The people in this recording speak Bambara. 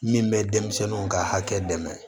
Min bɛ denmisɛnninw ka hakɛ dɛmɛ